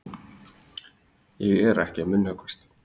Ég er ekki að munnhöggvast.